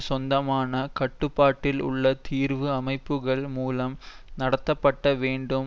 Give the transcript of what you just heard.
சொந்தமான கட்டுப்பாட்டில் உள்ள தீர்வு அமைப்புக்கள் மூலம் நடத்தப்பட வேண்டும்